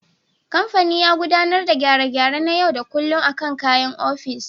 Kamfanin ya gudanar da gyare-gyare na yau da kullum akan kayan ofis.